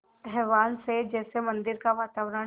आह्वान से जैसे मंदिर का वातावरण